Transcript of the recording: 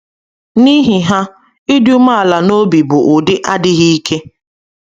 N’ihi ha, ịdị umeala n’obi bụ ụdị adịghị ike.